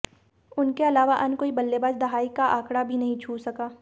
उनके अलावा अन्य कोई बल्लेबाज दहाई का आंकड़ा भी नहीं छू सका